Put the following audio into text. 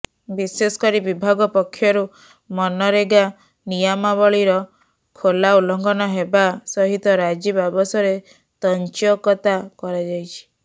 ବିଶେଷ କରି ବିଭାଗ ପକ୍ଷରୁ ମନରେଗା ନିୟମାବଳୀର ଖୋଲା ଉଲ୍ଲଘଂନ ହେବା ସହିତ ରାଜୀବ ଆବାସରେ ତଞ୍ଚକତା କରାଯାଇଛି